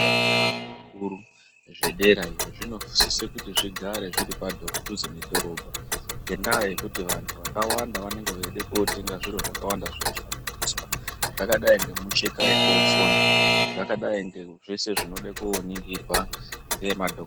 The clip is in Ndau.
Zvikora zveanhu akuru zvedera iyo zvinosise kuti zvigare zviri padhuze nedhorobha ngendaya yekuti vanhu vakawanda vanenge veyide kotenga zvinhu zvakawanda zvinoshandiswa zvakadayi ngemicheka yekundosona zvakadai zveshe zvinoda koningirwa ngemadhokotera.